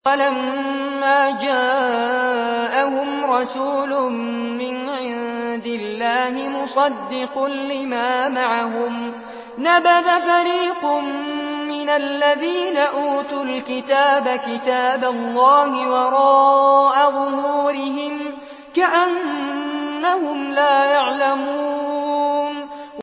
وَلَمَّا جَاءَهُمْ رَسُولٌ مِّنْ عِندِ اللَّهِ مُصَدِّقٌ لِّمَا مَعَهُمْ نَبَذَ فَرِيقٌ مِّنَ الَّذِينَ أُوتُوا الْكِتَابَ كِتَابَ اللَّهِ وَرَاءَ ظُهُورِهِمْ كَأَنَّهُمْ لَا يَعْلَمُونَ